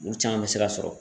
Olu caman bɛ se ka sɔrɔ